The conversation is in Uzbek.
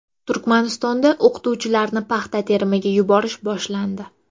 Turkmanistonda o‘qituvchilarni paxta terimiga yuborish boshlandi.